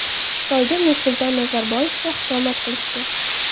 Xitoyda Nursulton Nazarboyevga xushomad qilishdi.